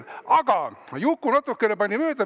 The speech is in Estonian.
Aga Juku natukene pani mööda.